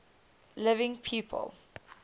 living people